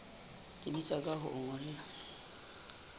tsebisa ka ho o ngolla